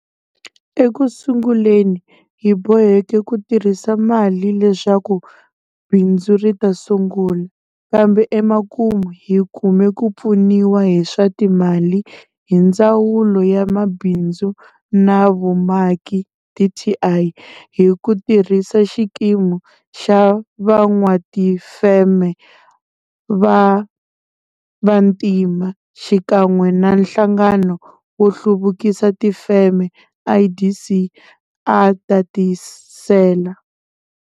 Eku sunguleni hi boheke ku tirhisa mali leswaku bindzu ri ta sungula, kambe emakumu hi kume ku pfuniwa hi swa timali hi Ndzawulo ya Mabindzu na Vumaki, dti, hi ku tirhisa Xikimu xa Van'watifeme va Vantima xikan'we na Nhlangano wo Hluvukisa Tifeme, IDC, a tatisela.